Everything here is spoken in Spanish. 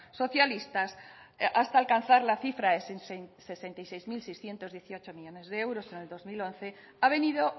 socialistas hasta alcanzar la cifra de sesenta y seis mil seiscientos dieciocho millónes de euros en el dos mil once ha venido